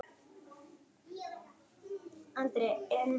Fyrir hvað ætti ég að vilja dæma þig?